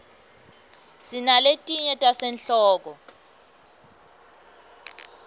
sinaletinye tasehlobo